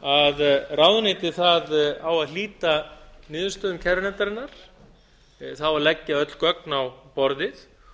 hvað ráðuneytið á að hlíta niðurstöðum kærunefndarinnar það á að leggja öll gögn á borðið